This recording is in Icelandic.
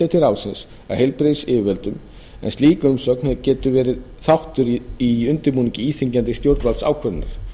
til ráðsins af heilbrigðisyfirvöldum en slík umsögn getur verið þáttur í undirbúningi íþyngjandi stjórnvaldsákvörðunar